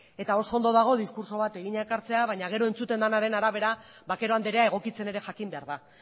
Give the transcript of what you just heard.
eta oso ondo dago diskurtso bat egina ekartzea baina gero entzuten denaren arabera vaquero andrea egokitzen ere jakin behar da